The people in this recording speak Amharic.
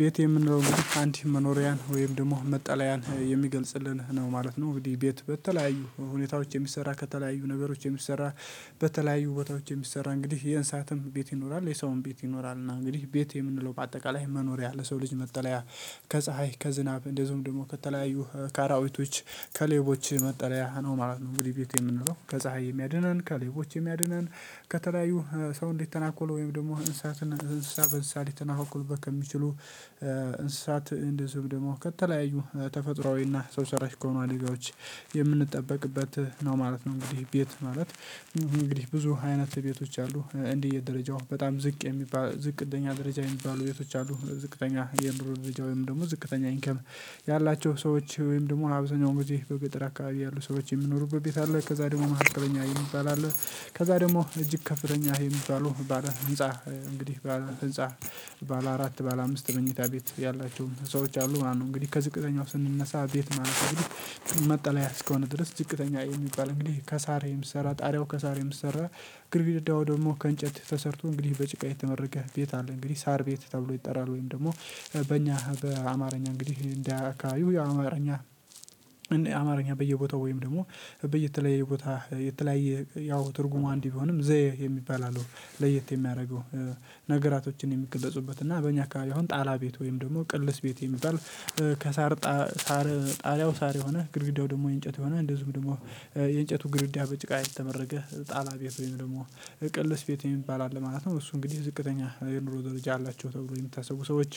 ቤት የምንለው አንድ መኖሪያን ወይም ደግሞ መጠለያን የሚገልጽልን ነው ማለት ነው። እንግዲህ ቤት በተለያዩ ሁኔታዎች የሚሰራ ከተለያዩ ነገሮች የሚሰራ። በተለያዩ ቦታዎች የሚሰራ እንግዲህ የእንሳትም ቤት ይኖራል የሰውም ቤት ይኖራል። እና እንግዲህ ቤት የምንለው በአጠቃላይ መኖሪያ ለሰው ልጅ መጠለያ ከፀሀይ ከዝናብ እንደዚሁም ደግሞ ከተለያዩ ከ አራዊቶች ከሌቦች መጠለያ ነው ማለት ነው። እንግዲህ ቤቱ የምንለው ከፀሀይ የሚያድነን ከሌቦች የሚያድነን ከተለያዩ ሰውን ሊተናኮሉ ወይም ደግሞ እንስሳትን እንስሳት በእንስሳት ሊተናኮልበት ከሚችሉ እንስሳት እንደዚሁም ደግሞ ከተለያዩ ተፈጥሮአዊና ሰው ሰራሽ ከሆኑ አደጋዎች የምንጠበቅበት ነው ማለት ነው። እንግዲህ ቤት ማለት እንግዲህ ብዙ አይነት ቤቶች አሉ። እንደየ ደረጃው በጣም ዝቅ የሚባል ዝቅተኛ ደረጃ የሚባሉ ቤቶች አሉ ዝቅተኛ የኑሮ ደረጃ ወይም ደግሞ ዝቅተኛ ኢንካም ያላቸው ሰዎች ወይም ደግሞ አብዛኛውን ጊዜ በገጠር አካባቢ ያሉ ሰዎች የሚኖሩበት ቤት አለ። ከዚያ ደግሞ መካከለኛ የሚባል አለ። ከዚያ ደግሞ እጅግ ከፍተኛ የሚባሉ ባለ ህንፃ እንግዲህ ባለ ህንፃ ባለ አራት ባለ አምስት መኝታ ቤት ያላችው ህንጻወች አሉ ማለት ነው። እንግዲህ ከዝቅዘኛው ስንነሳ ቤት ማለት እንግዲህ መጠለያ እስከሆነ ድረስ ዝቅተኛ የሚባል እንግዲህ ከእሳር የሚሰራ ጣሪያው ከእሳር የሚሰራ ግርግዳው ደግሞ ከእንጨት ተሰርቶ እንግዲህ በጭቃ የተመረገ ቤት አለ። እንግዲህ እሳር ቤት ተብሎ ይጠራል። ወይም በእኛ በአማርኛ እንግዲህ እንደየ አከባቢው የአማርኛ አማርኛ በየቦታው ወይም ደግሞ በየተለየ ቦታ የተለያየ ያው ትርጉሙ አንድ ቢሆንም ዘዬ የሚባል አለው። ለየት የሚያደርገው ነገራቶችን የሚገለጹበት እና በእኛ አካባቢ አሁን ጣላ ቤት ወይም ደግሞ ቅልስ ቤት የሚባል። ከእሳር ጣርያው እሳር የሆነ ግድግዳው ደግሞ የእንጨት የሆነ እንደዚሁ ደግሞ የእንጨቱ ግድግዳ በጭቃ የተመረገ ጣላ ቤት ወይም ደግሞ ቅልስ ቤት የሚባል አለ ማለት ነው። እሱ እንግዲህ ዝቅተኛ የኑሮ ደረጃ አላቸው ተብሎ የምታስቡ ሰዎች